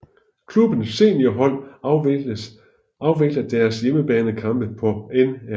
Klubbens seniorhold afvikler deres hjemmebanekampe på Nr